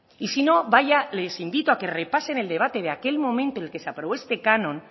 y si no vaya les invito a que repasen el debate de aquel momento en el que se aprobó este canon